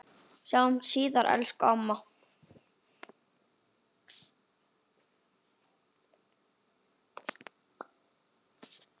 Sjáumst síðar, elsku amma.